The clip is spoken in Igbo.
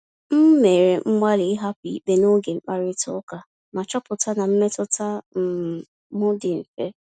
M mere mgbalị ịhapụ ikpe n’oge mkparịta ụka, ma chọpụta na mmetụta um m dị mfe.